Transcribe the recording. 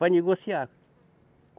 Para negociar.